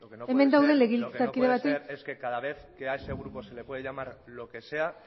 lo que no puede ser es que cada vez que a ese grupo se le puede llamar lo que sea